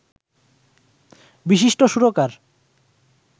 বিশিষ্ট সুরকার